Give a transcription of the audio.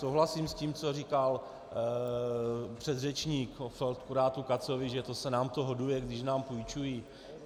Souhlasím s tím, co říkal předřečník o feldkurátu Katzovi, že to se nám to hoduje, když nám půjčují.